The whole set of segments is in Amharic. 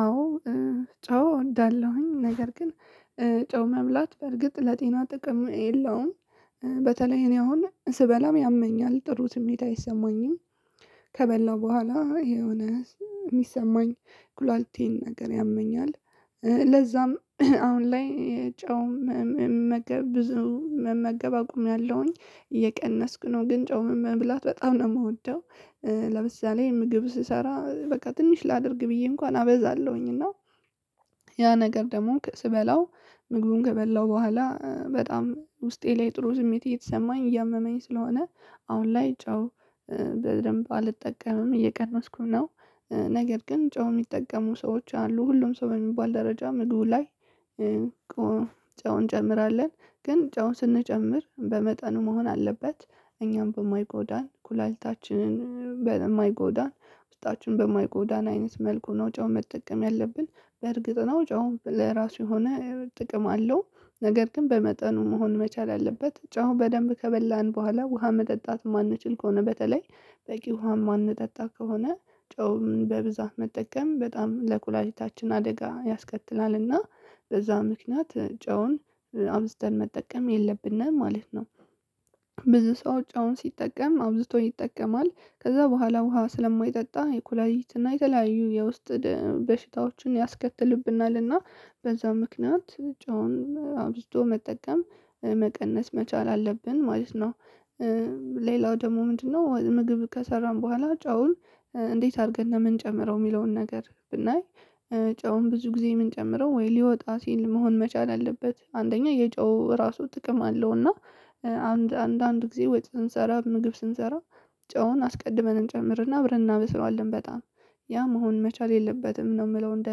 አዎ። ጨው እወዳለሁኝ ነገር ግን ጨው መብላት በርግጥ ለጤና ጥቅም የለውም በተለይ እኔ አሁን ስበላም ያመኛል ጥሩ ስሜት አይሰማኝም። ከበላው በኋላ የሆነው የሚሰማኝ ኩላሊቴን ነገር ያመኛል። ለዛም አሁን ላይ ጨው መመገብ ብዙ መመገብ አቁምያለሁኝ እየቀነስኩ ነው ግን ጨው መብላት በጣም ነው የምወደው። ለምሳሌ ምግብ ስሰራ በቃ ትንሽ ላድርግ ብዬ እንኳን አበዛለሁኝ እና ያ ነገር ደግሞ ስበላው ምግቡን ከበላሁ በኋላ በጣም ውስጤ ላይ ጥሩ ስሜት እየተሰማኝ እያመመኝ ስለሆነ። አሁን ላይ ጨው በደንብ አልጠቀምም እየቀነስኩ ነው። ነገር ግን ጨው የሚጠቀሙ ሰዎች አሉ ሁሉም ሰው በሚባል ደረጃ ምግቡ ላይ። ጨው እንጨምራለን ግን ጨው ስንጨምር በመጠኑ መሆን አለበት እኛን በማይጎዳን ኩላሊታችንን የማይጎዳን ውስጣችን በማይጎዳን አይነት መኩ ነው። ጨው መጠቀም ያለብን እርግጥ ነው ጨው ለራሱ የሆነ ጥቅም አለው። ነገር ግን በመጠኑ መሆን መቻል አለበት ጨው በደንብ ከበላን በኋላ ውሃ መጠጣት የማንችል ከሆነ በተለይ በቂ ውሃ የማንጠጣ ከሆነ ጨው በብዛት መጠቀም በጣም ለኩላሊታችን አደጋ ያስከትላልና በዛ ምክንያት ጨውን አብዝተን መጠቀም የለብንም ማለት ነው። ብዙ ሰው ጨውን ሲጠቀም አብዝቶ ይጠቀማል ከዛ በኋላ ውሃ ስለማይጠጣ የኩላሊት እና የተለያዩ የውስጥ በሽታዎችን ያስከትልብናል እና በዛ ምክንያት ጨውን አብዝቶ መጠቀም መቀነስ መቻል አለብን ማለት ነው። ሌላው ደግሞ ምንድነው? ምግብ ከሰራን በኋላ ጨውን እንዴት አድርገን ነው ምንጨምረው የሚለውን ነገር ብናይ ጨውን ብዙ ጊዜ የምንጨምረው ወይ ሊወጣ ሲል መሆን መቻል አለበት። አንደኛ የጨው እራሱ ጥቅም አለው እና አንዳንድ ጊዜ ወጥ ስንሰራ ምግብ ስንሰራ ጨውን አስቀድመን እንጨምር እና አብረን እናበስለዋለን በጣም ያ መሆን መቻል የለበትም። ነው የምለው እንደ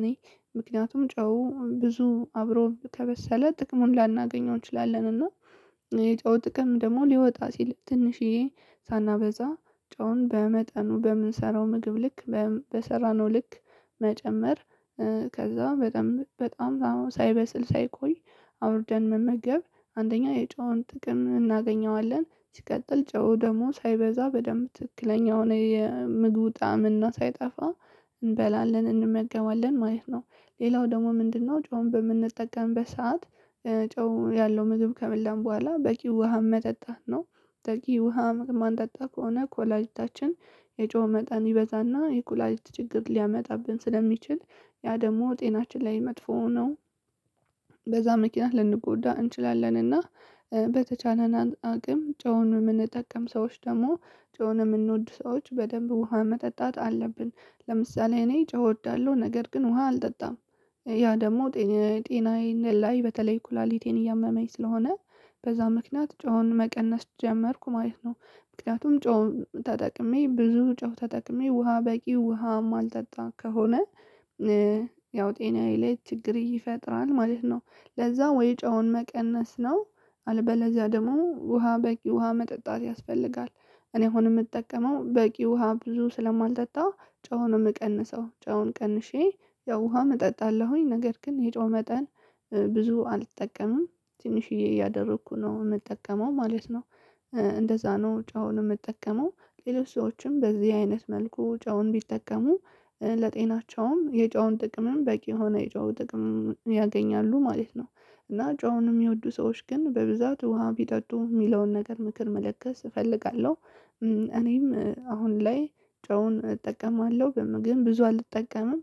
እኔ ምክንያቱም ጨው ብዙ አብሮ ከበሰለ ጥቅሙን ላናገኘው እንችላለን። እና የጨው ጥቅም ደግሞ ሊወጣ ሲል ትንሽዬ ሳናበዛ ጨውን በመጠኑ በምንሰራው ምግብ ልክ በሰራነው ልክ መጨመር። ከዛ በጣም በጣም ሳይበስል ሳይቆይ አውርደን መመገብ አንደኛ የጨውን ጥቅም እናገኘዋለን ሲቀጥል ጨው ደግሞ ሳይበዛ በደንብ ትክክለኛ የሆነ የምግቡ ጣዕም እና ሳይጠፋ እንበላለን እንመገባለን ማለት ነው። ሌላው ደግሞ ምንድነው? ጨውን በምንጠቀምበት ሰዓት ጨው ያለው ምግብ ከበላን በኋላ በቂ ውሃ መጠጣት ነው። በቂ ውሃ ማንጠጣ ከሆነ ኩላሊታችን የጨው መጠን ይበዛና የኩላሊት ችግር ሊያመጣብን ስለሚችል ያ ደግሞ ጤናችን ላይ መጥፎ ነው። በዛ ምክንያት ልንጎዳ እንችላለን እና በተቻለን አቅም ጨውን የምንጠቀም ሰዎች ደግሞ ጨውን የምንወድ ሰዎች በደንብ ውሃ መጠጣት አለብን። ለምሳሌ እኔ ጨው እወዳለሁ ነገር ግን ውሃ አልጠጣም ያ ደግሞ ጤናዬን ላይ በተለይ ኩላሊቴን እያመመኝ ስለሆነ በዛ ምክንያት ጨውን መቀነስ ጀመርኩ ማለት ነው። ምክንያቱም ጨው ተጠቅሜ ብዙ ጨው ተጠቅሜ ውሃ በቂ ውሃ የማልጠጣ ከሆነ። ያው ጤናዬ ላይ ችግር ይፈጥራል ማለት ነው። ለዛ ወይ ጨውን መቀነስ ነው አለበለዚያ ደግሞ ውሃ በቂ ውሃ መጠጣት ያስፈልጋል። እኔ አሁን የምጠቀመው በቂ ውሃ ብዙ ስለማልጠጣ ጨውን ነው የምቀንሰው ጨው ቀንሼ ያው ውሃም እጠጣለው ነገር ግን የጨው መጠን ብዙ አልጠቀምም ትንሽዬ እያደረኩ ነው የምጠቀመው። እንደዛ ነው ጨውን የምጠቀመው ሌሎች ሰዎችም በእንደዚ አይነት መልኩ ጨውን ቢጠቀሙ ለጤናቸውም የጨውን ጥቅምም በቂ የሆነ የጨው ጥቅም ያገኛሉ ማለት ነው። እና ጨውን የሚወዱ ሰዎች ግን በብዛት ውሃ ቢጠጡ የሚለውን ነገር ምክር መለገስ እፈልጋለው። እኔም አሁን ላይ ጨውን እጠቀማለሁ ግን ብዙ አልጠቀምም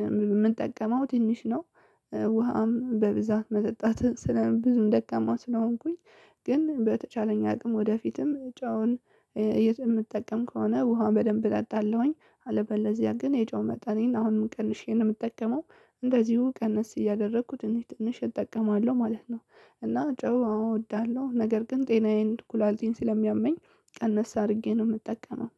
የምንጠቀመው ትንሽ ነው። ውሃም በብዛት መጠጣት ስለ ብዙም ደካማ ስለሆንኩኝ ግን በተቻለኝ አቅም ወደፊትም ጨውን የምጠቀም ከሆነ ውሃ በደንብ እጠጣለሁኝ አለበለዚያ ግን የጨው መጠኔን አሁንም ቀንሼ ነው የምጠቀመው እንደዚሁ ቀነስ እያደረኩ ትንሽ ትንሽ እጠቀማለሁ ማለት ነው። እና ጨው አዎ እወዳለሁ ነገር ግን ጤናዬን ኩላሊቴን ስለሚያመኝ ቀነስ አድርጌ ነው የምጠቀመው።